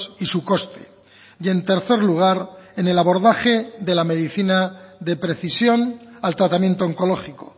y su coste y en tercer lugar en el abordaje de la medicina de precisión al tratamiento oncológico